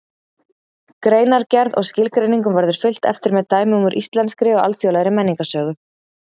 Greinargerð og skilgreiningum verður fylgt eftir með dæmum úr íslenskri og alþjóðlegri menningarsögu.